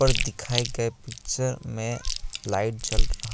दिखाए गए पिक्चर में लाइट जल रहा--